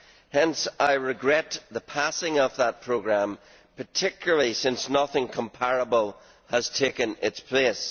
Hence I regret the passing of that programme, particularly since nothing comparable has taken its place.